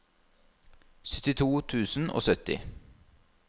syttito tusen og sytti